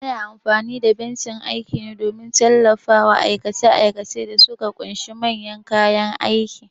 Ana amfani da bencin aiki ne don tallafawa aikace-aikacen da suka ƙunshi manyan kayan aiki.